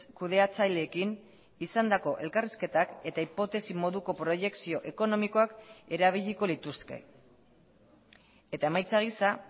kudeatzaileekin izandako elkarrizketak eta hipotesi moduko proiekzio ekonomikoak erabiliko lituzke eta emaitza gisa